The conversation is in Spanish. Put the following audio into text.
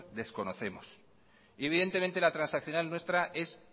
desconocemos y evidentemente la transaccional nuestra es